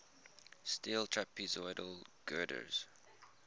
steel trapezoidal girders